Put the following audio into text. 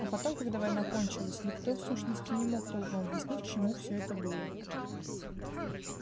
а потом когда война кончалась никто в сущности не мог толком объяснить к чему всё это было